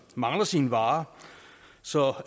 mangler sine varer så